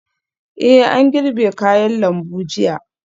Eh an girbe kayan lambu jiya